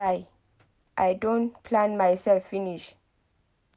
Guy I don plan myself finish